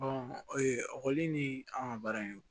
ekɔli ni an ka baara in